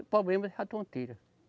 O problema essa tonteira.